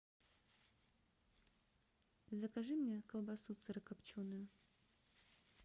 закажи мне колбасу сырокопченую